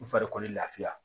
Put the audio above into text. U farikolo lafiya